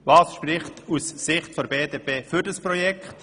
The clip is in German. Was spricht aus Sicht der BDP für dieses Projekt?